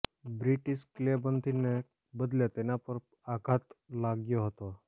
British કિલ્લેબંધીને બદલે તેના પર આઘાત લાગ્યો હતો